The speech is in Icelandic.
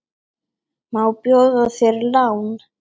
Má bjóða þér lán?